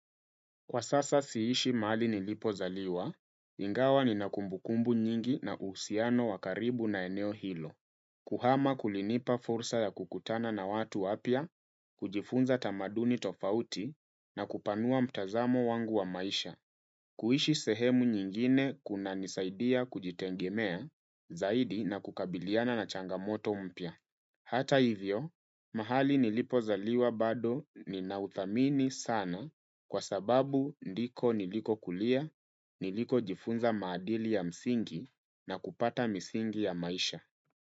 Kwa sasa siishi mahali nilipozaliwa, ingawa nina kumbukumbu nyingi na uhusiano wa karibu na eneo hilo. Kuhama kulinipa fursa ya kukutana na watu wapya, kujifunza tamaduni tofauti na kupanua mtazamo wangu wa maisha. Kuishi sehemu nyingine kunanisaidia kujitegemea, zaidi na kukabiliana na changamoto mpya. Hata hivyo, mahali nilipozaliwa bado ninauthamini sana kwa sababu ndiko nilikokulia, nilikojifunza maadili ya msingi na kupata misingi ya maisha.